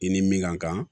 I ni min kan